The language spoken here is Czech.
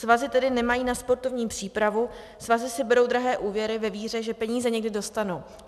Svazy tedy nemají na sportovní přípravu, svazy si berou drahé úvěry ve víře, že peníze někdy dostanou.